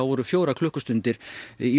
voru fjórar klukkustundir í